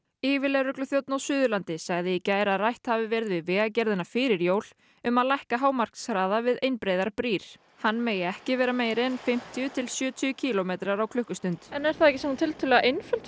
yfirlögregluþjónn á Suðurlandi sagði í gær að rætt hafi verið við Vegagerðina fyrir jól um að lækka hámarkshraða við einbreiðar brýr hann megi ekki vera meiri en fimmtíu til sjötíu kílómetrar á klukkustund en er það ekki tiltölulega einföld